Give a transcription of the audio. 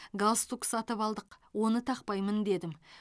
галстук сатып алдық оны тақпаймын дедім